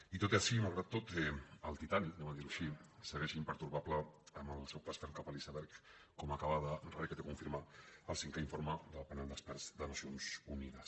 i tot i així malgrat tot el titanicgueix impertorbable en el seu pas cap a l’iceberg com acaba de requeteconfirmar el cinquè informe del panel d’experts de nacions unides